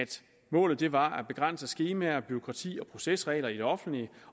målet var at begrænse skemaer bureaukrati og procesregler i det offentlige